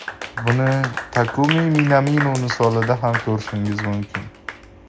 Buni Takumi Minamino misolida ham ko‘rishingiz mumkin.